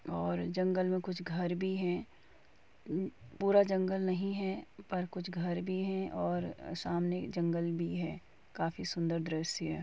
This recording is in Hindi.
और जंगल मे कुछ घर भी हैं पूरा जंगल नहीं है पर कुछ घर भी हैं और सामने जंगल है काफी सुंदर दृश्य है।